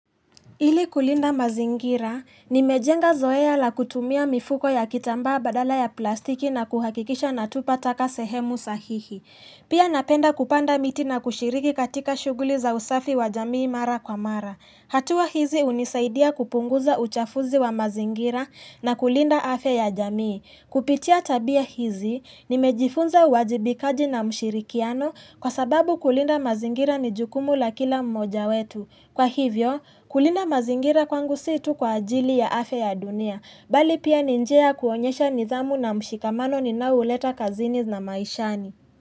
Ili kulinda mazingira, nimejenga zoea la kutumia mifuko ya kitambaa badala ya plastiki na kuhakikisha natupa taka sehemu sahihi. Pia napenda kupanda miti na kushiriki katika shuguli za usafi wa jamii mara kwa mara. Hatua hizi unisaidia kupunguza uchafuzi wa mazingira na kulinda afya ya jamii. Kupitia tabia hizi, nimejifunza uwajibikaji na mshirikiano kwa sababu kulinda mazingira ni jukumu la kila mmoja wetu. Kwa hivyo, kulinda mazingira kwangu si tu kwa ajili ya afya ya dunia, bali pia ni njia ya kuonyesha nidhamu na mshikamano ninaouleta kazini na maishani.